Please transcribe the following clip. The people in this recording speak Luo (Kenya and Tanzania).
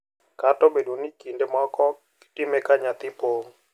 Kata obedo ni kinde moko gitime ka nyathi pong`.